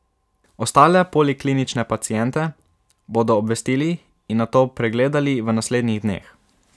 Ostale poliklinične paciente bodo obvestili in nato pregledali v naslednjih dneh.